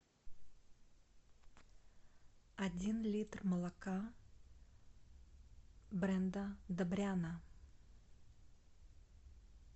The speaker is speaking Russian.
один литр молока бренда добряна